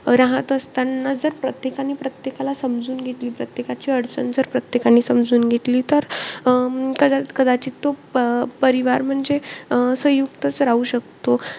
राहत असताना जर, प्रत्येकाने प्रत्येकाला समजून घेतलं. प्रत्येकाची अडचण जर, प्रत्येकाने समजून घेतली. तर अं तरचं कदाचित तो प परिवार म्हणजे सयुंक्तचं राहतो शकतो.